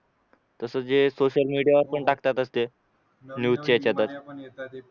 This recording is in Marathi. तसंच जे सोशल मीडियावर पण टाकतातच ते न्यूजच्या याच्यातच